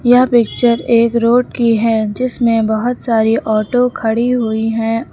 यह पिक्चर एक रोड की है जिसमें बहुत सारी ऑटो खड़ी हुई हैं।